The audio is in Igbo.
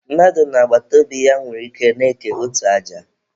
Mmadụ na agbataobi ya nwere ike na-eke otu aja.